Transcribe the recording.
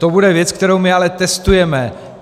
To bude věc, kterou my ale testujeme.